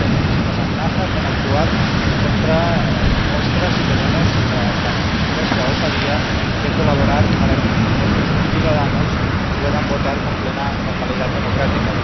Se nos amenaza con actuar contra nuestra supuesta —si la tenemos— osadía de colaborar para que nuestros conciudadanos puedan votar con plena normalidad democrática.